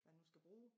Hvad hun skal bruge